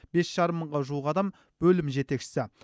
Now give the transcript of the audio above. бес жарым мыңға жуық адам бөлім жетекшісі